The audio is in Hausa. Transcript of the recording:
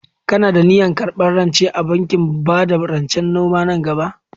Kana da niyyar karɓar rance a bankin bada rancen noma nan gaba?